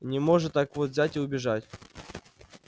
не может так вот взять и убежать